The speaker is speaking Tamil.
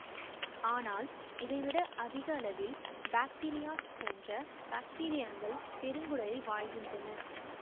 ஆனால் இதை விட அதிக அளவில் பாக்டீரியாட்ஸ் போன்ற பாக்டீரியங்கள் பெருங்குடலில் வாழ்கின்றன